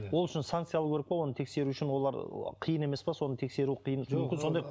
ол үшін санкция алу керек қой оны тексеру үшін олар қиын емес пе соны тексеру мүмкін сондай